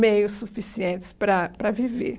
meios suficientes para para viver.